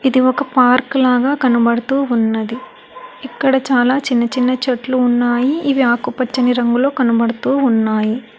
ఇది ఒక పార్కు లాగా కనబడుతూ ఉన్నది ఇక్కడ చాలా చిన్న చిన్న చెట్లు ఉన్నాయి ఇవి ఆకుపచ్చని రంగులో కనబడుతూ ఉన్నాయి.